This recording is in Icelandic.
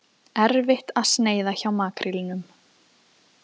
Erfitt að sneiða hjá makrílnum